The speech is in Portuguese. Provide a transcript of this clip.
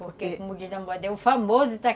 Porque, como diz a moda, é o famoso ta